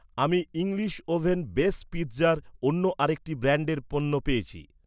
আমি English oven base পিৎজার অন্য আরেকটি ব্র্যান্ডের পণ্য পেয়েছি৷